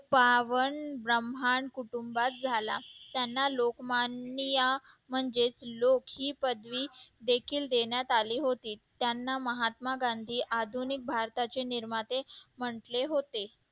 बावन ब्रह्मांत कुटुंबात झाला त्यांना लोकमान्य या म्हणजे लोक ही पदवी देखील देण्यात आली होती त्यांना महात्मा गांधी आधुनिक भारताचे निर्माते म्हटले होते